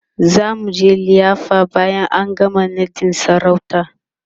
zamuje liyafa bayan an gama naɗin sarautar